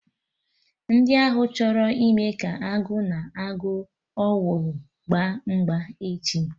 Ndi ahụ chọrọ ịme ka Agụ na agụ owuru gba mgba echi